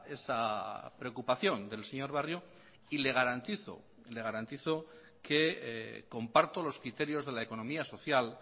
esa preocupación del señor barrio y le garantizo le garantizo que comparto los criterios de la economía social